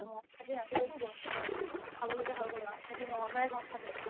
মই ছাগে ৰাতি আৰুতো গ'ম নাই খাবলৈকে হৈ গ'ল আৰু সেই সি মংগলবাৰে ঘৰত থাকে